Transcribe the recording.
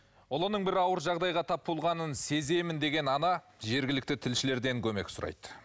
ұлының бір ауыр жағдайға тап болғанын сеземін деген ана жергілікті тілшілерден көмек сұрайды